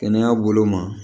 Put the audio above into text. Kɛnɛya bolo ma